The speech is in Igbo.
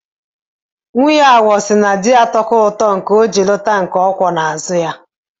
Nwunye awọ sị na di atọka ụtọ, o ji lụta nke ọ kwọ ya n'azụ.